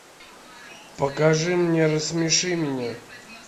покажи мне рассмеши меня